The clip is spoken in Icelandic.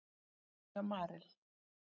Hagnaður hjá Marel